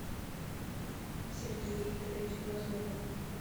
сергей викторович дроздов